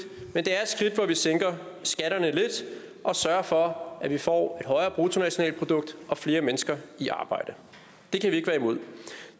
hvor vi sænker skatterne lidt og sørger for at vi får højere bruttonationalprodukt og flere mennesker i arbejde det kan vi ikke være imod